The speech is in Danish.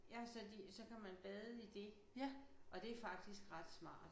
Ja så de så kan man bade i det og det er faktisk ret smart